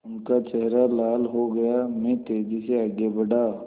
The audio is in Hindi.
उनका चेहरा लाल हो गया मैं तेज़ी से आगे बढ़ा